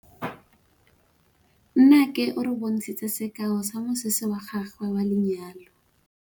Nnake o re bontshitse sekaô sa mosese wa gagwe wa lenyalo.